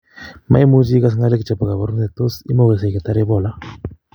Maimuchi igas kalek chebo kabarunet tos imugaksei ketar Ebola?